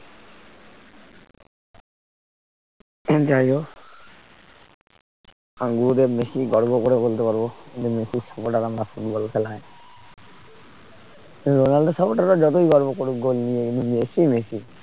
যাই হোক আমি গুরুদেব মেসি গর্ব করে বলতে পারব মেসির supporter আমরা ফুটবল খেলায় রোনাল্ডোর supporter রা যতই গর্ব করুক goal নিয়ে এই নিয়ে মেসি মেসি